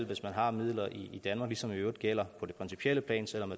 hvis man har midler i danmark ligesom det i øvrigt gælder på det principielle plan selv om